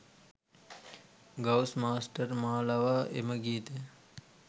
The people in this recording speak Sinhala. ගවුස් මාස්ටර් මා ලවා එම ගීතය